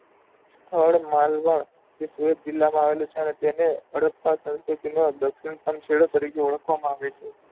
સ્થળ માલવા તે સુરત જિલ્લા માં આવેલું છે અને તેને હડપા સંસ્કૃતિ માં દક્ષિણ શનશેડો તરીકે ઓળખવા માં આવે છે.